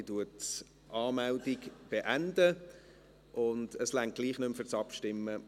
Ich beende die Anmeldung, es reicht gleichwohl nicht mehr für das Abstimmen.